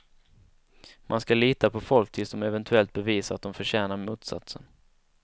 Man ska lita på folk tills de eventuellt bevisar att de förtjänar motsatsen.